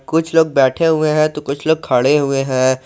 कुछ लोग बैठे हुए हैं तो कुछ लोग खड़े हुए हैं।